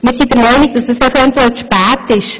Wir sind der Meinung, dass dies eventuell zu spät ist.